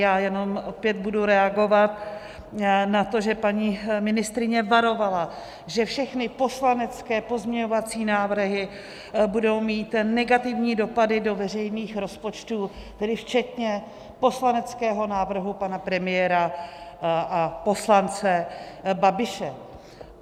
Já jenom opět budu reagovat na to, že paní ministryně varovala, že všechny poslanecké pozměňovací návrhy budou mít negativní dopady do veřejných rozpočtů, tedy včetně poslaneckého návrhu pana premiéra a poslance Babiše.